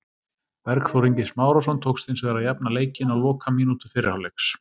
Bergþór Ingi Smárason tókst hins vegar að jafna leikinn á lokamínútu fyrri hálfleiks.